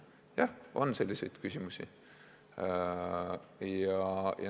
Jah, on selliseid küsimusi.